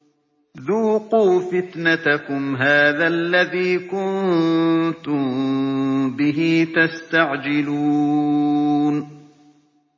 ذُوقُوا فِتْنَتَكُمْ هَٰذَا الَّذِي كُنتُم بِهِ تَسْتَعْجِلُونَ